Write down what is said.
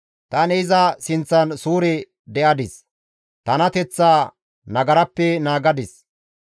Tani iza sinththan suure de7adis; tanateththaa nagarappe naagadis.